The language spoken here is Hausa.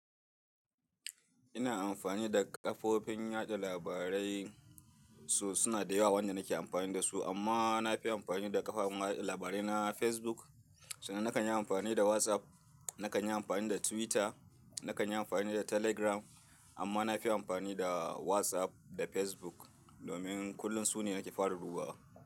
Ina amfani da kafofin yaɗa labarai, so suna da yawa wanda nake amfani da su, amma nafi amfani da kafafen watsa labarai na Facebook. Sannan na kan yi amfani da WhatsApp, na kan yi amfani da Twitter, na kan yi amfani da Telegram amma nafi amfani da WhatsApp da Facebook domin kullum su ne nake fara dubawa.